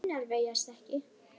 Mínar vegast ekki.